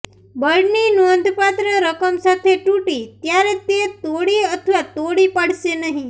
બળની નોંધપાત્ર રકમ સાથે તૂટી ત્યારે તે તોડી અથવા તોડી પાડશે નહીં